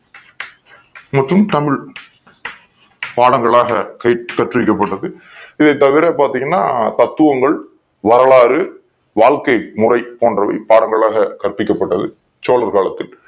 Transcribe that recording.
மற்றும் தமிழ் பாடங்களாக கல்வி கற்று வைக்கப் பட்டது இதைத் தவிர பாத்தீங்கன்னா தத்துவங்கள் வரலாறு வாழ்க்கை முறை பாடங்களாக கற்பிக்கப் பட்டது சோழர்கள் காலத்தில்